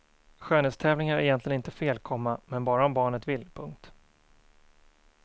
Skönhetstävlingar är egentligen inte fel, komma men bara om barnet vill. punkt